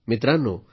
मित्रांनो